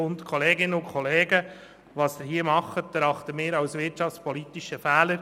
Kolleginnen und Kollegen, was Sie hier tun, erachten wir als wirtschaftspolitischen Fehler.